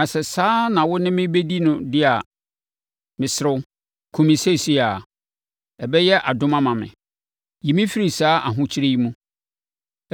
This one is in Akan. Na sɛ saa na wo ne me bɛdi no deɛ a, mesrɛ, kum me seesei ara; ɛbɛyɛ adom ama me! Yi me firi saa ahokyere yi mu!”